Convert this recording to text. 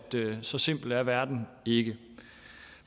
så simpel er verden ikke